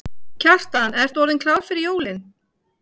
Kjartan, ert þú orðinn klár fyrir jólin?